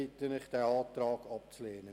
Ich bitte Sie, diesen Antrag abzulehnen.